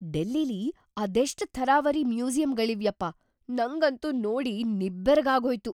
ಡೆಲ್ಲಿಲಿ ಅದೆಷ್ಟ್‌ ಥರಾವರಿ ಮ್ಯೂಸಿಯಮ್‌ಗಳಿವ್ಯಪ್ಪ! ನಂಗಂತೂ ನೋಡಿ ನಿಬ್ಬೆರಗಾಗೋಯ್ತು.